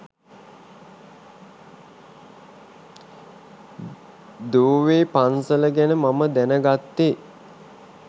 දෝවේ පන්සල ගැන මම දැනගත්තේ